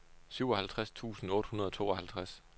syvoghalvtreds tusind otte hundrede og tooghalvtreds